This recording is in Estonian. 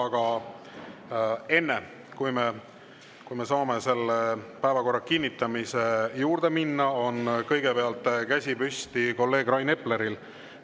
Aga enne, kui me saame selle päevakorra kinnitamise juurde minna, vaatan, et käsi on püsti kolleeg Rain Epleril.